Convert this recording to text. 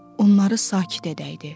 Onları sakit edəydi.